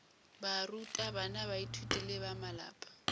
barutabana baithuti le ba malapa